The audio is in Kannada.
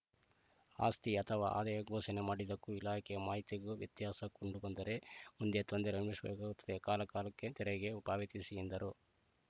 ಆಸ್ತಿ ಅಥವಾ ಆದಾಯ ಘೋಷಣೆ ಮಾಡಿದ್ದಕ್ಕೂ ಇಲಾಖೆಯ ಮಾಹಿತಿಗೂ ವ್ಯತ್ಯಾಸ ಕಂಡುಬಂದರೆ ಮುಂದೆ ತೊಂದರೆ ಅನುಶ್ ಬೇಕು ಕಾಲಕಾಲಕ್ಕೆ ತೆರಿಗೆ ಉಪಾವತಿಸಿ ಎಂದರು